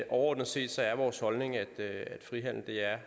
overordnet set er vores holdning at frihandel er